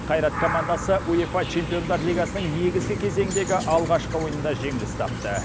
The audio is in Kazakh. қайрат командасы уефа чемпиондар лигасының негізгі кезегіндегі алғашқы ойынында жеңіліс тапты